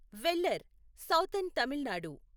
Vellar southern Tamil Nadu